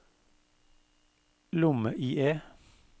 lomme-IE